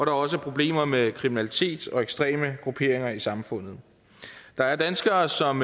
er også problemer med kriminalitet og ekstreme grupperinger i samfundet der er danskere som